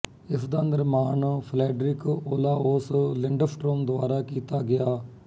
ਇਸਦਾ ਨਿਰਮਾਣ Fredrik Olaus Lindstrom ਦੁਆਰਾ ਕੀਤਾ ਗਿਆ